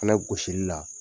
Fɛnɛ gosili la